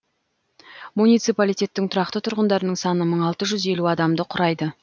муниципалитеттің тұрақты тұрғындарының саны мың алты жүз елу адамды құрайды